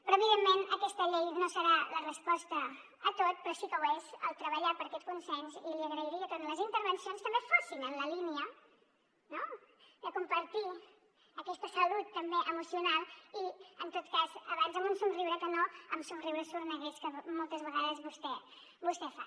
però evidentment aquesta llei no serà la resposta a tot però sí que ho és el treballar per a aquest consens i li agrairia que en les intervencions també fossin en la línia no de compartir aquesta salut també emocional i en tot cas abans amb un somriure que no amb somriures sorneguers que moltes vegades vostè fa